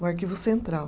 o arquivo central.